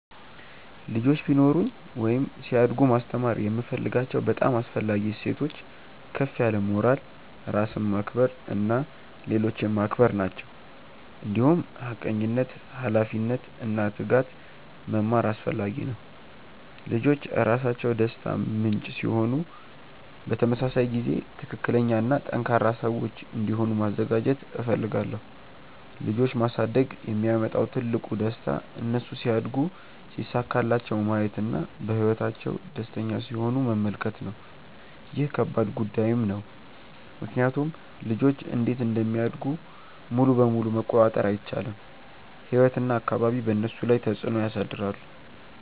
ልጆች ቢኖሩኝ ወይም ሲያድጉ ማስተማር የምፈልጋቸው በጣም አስፈላጊ እሴቶች ከፍ ያለ ሞራል፣ ራስን ማክበር እና ሌሎችን ማክበር ናቸው። እንዲሁም ሐቀኝነት፣ ኃላፊነት እና ትጋት መማር አስፈላጊ ነው። ልጆች ራሳቸው ደስታ ምንጭ ሲሆኑ በተመሳሳይ ጊዜ ትክክለኛ እና ጠንካራ ሰዎች እንዲሆኑ ማዘጋጀት እፈልጋለሁ። ልጆች ማሳደግ የሚያመጣው ትልቁ ደስታ እነሱ ሲያድጉ ሲሳካላቸው ማየት እና በህይወታቸው ደስተኛ ሲሆኑ መመልከት ነው። ይህ ከባድ ጉዳይም ነው ምክንያቱም ልጆች እንዴት እንደሚያድጉ ሙሉ በሙሉ መቆጣጠር አይቻልም፤ ህይወት እና አካባቢ በእነሱ ላይ ተፅዕኖ ያሳድራሉ።